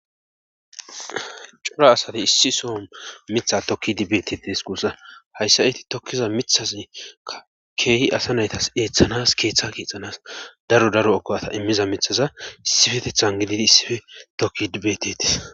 Cora asate issi soo mitha tokki dibetetes gussa hayssa iti tokkiza mithasi a keehi asa naytas eeththanas keeththa kiixanas daro daro okowata immiza mithaza issifetethan gididi issife tokki dibetetes